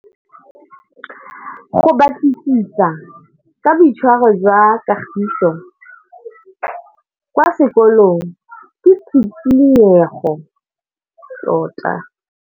Go batlisisa ka boitshwaro jwa Kagiso kwa sekolong ke tshikinyêgô tota.